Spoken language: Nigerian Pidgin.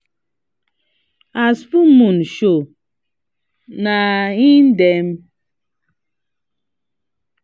we been dey practice down before dem start the olden days memory game